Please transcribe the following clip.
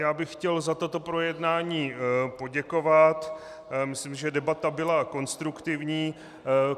Já bych chtěl za toto projednání poděkovat, myslím, že debata byla konstruktivní.